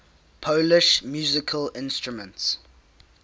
polish musical instruments